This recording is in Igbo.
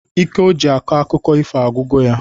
Ike o ji akọ akụkọ ifo agwugo ya